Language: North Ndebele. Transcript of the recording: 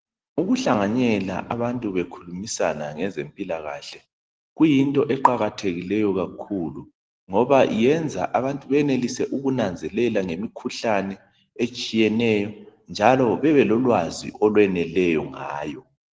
Ukuhlanganyela abantu bekhulumisana ngezempilakahle, kuyinto eqakathekileyo kakhulu, ngoba iyenza abantu benelise ukunanzelela ngemikhuhlane etshiyeneyo, njalo bebelolwazi olweneleyo ngayo.